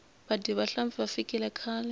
vadyi va nhlampfi va fikile khale